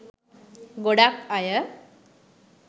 ගොඩක් අය